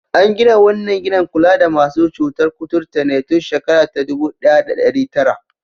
An gina wannan gidan kula da masu cutar kuturta ne tun shekara ta dubu ɗaya da ɗari tara.